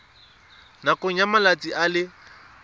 nakong ya malatsi a le